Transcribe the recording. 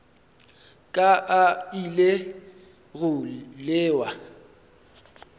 ka a ile go lewa